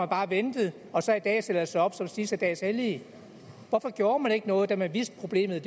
bare ventet og så i dag stiller sig op som de sidste dages hellige hvorfor gjorde man ikke noget da man vidste at problemet